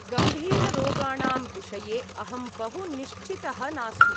गम्भीररोगाणां विषये अहं बहु निश्चितः नास्मि।